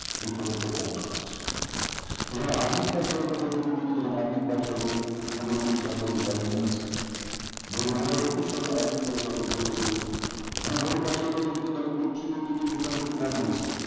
যে প্রকৃত কম দেখাচ্ছে যেখানে army প্রায় স্বরূপ পদ্ধতি আর্মি প্রায় স্বরূপ মোটামুটি average lining আছে বরং দুই হাজার একুশ সালে army র ফলস্বরূপ অনেক আছে এখানে group ছিল কিন্তু এখানে একটু কম হয়েছে